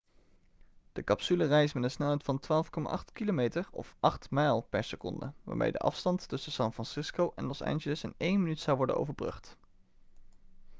de capsule reist met een snelheid van 12,8 km of 8 mijl per seconde waarmee de afstand tussen san francisco en los angeles in één minuut zou worden overbrugd